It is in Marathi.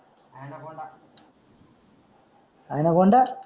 ऍनाकोंडा